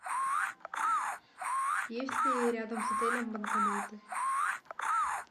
есть ли рядом с отелем банкоматы